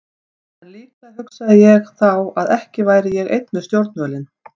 En líklega hugsaði ég þá að ekki væri ég einn við stjórnvölinn.